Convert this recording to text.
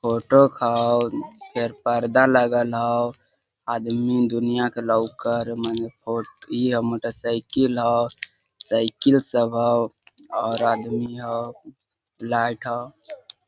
Auto हव इसके परदा लगल हव आदमी है दुनिया का लोकर और ई हमरा साईकल हव साईकल सब ह और आदमी ह लाइट हव।